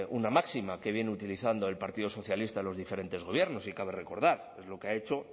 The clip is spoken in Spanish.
una máxima que viene utilizando el partido socialista en los diferentes gobiernos y cabe recordar es lo que ha hecho